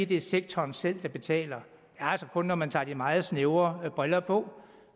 det er sektoren selv der betaler altså kun gælder når man tager de meget snævre briller på